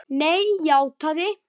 Nei, játaði